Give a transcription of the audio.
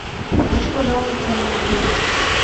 хочу пожаловаться на отель